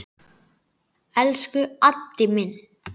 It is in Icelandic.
Elsku Addi minn.